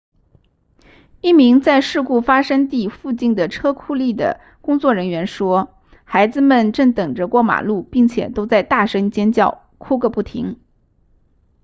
一名在事故发生地附近的车库立的工作人员说孩子们正等着过马路并且都在大声尖叫哭个不停